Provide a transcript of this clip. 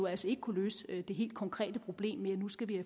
altså ikke kunne løse det helt konkrete problem med at nu skal vi